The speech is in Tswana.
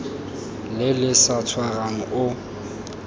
le le sa tshwarang o